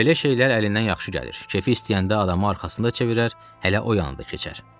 Belə şeylər əlindən yaxşı gəlir, kefi istəyəndə adamı arxasını da çevirər, elə o yanında keçər.